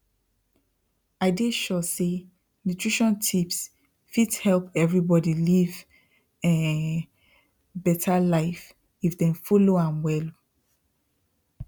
i dey sure say nutrition tips fit help everybody live um better life if dem follow am well